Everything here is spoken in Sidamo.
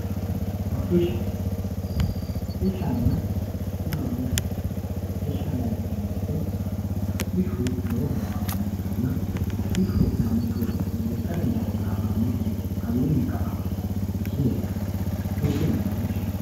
Hodhishshana hodhishanna yaa mayaate hodhishshu duuchu dani hodhishi no hodhishanna yineemo woyite hodhishu lowo horo aanoha ikanna hodhishshu manchu lekateni hare daafuranoki gede kawiini ka`a massano isii herano duuchu dani hodhishi no